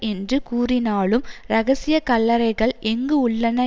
என்று கூறினாலும் இரகசிய கல்லறைகள் எங்கு உள்ளன